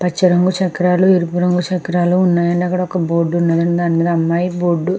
పచ్చ రంగు చక్రాలు ఎరుపు రంగు చక్రాలు అక్కడ ఒక బోర్డు ఉన్నదండి. దానిమీద అమ్మాయి బోర్డు --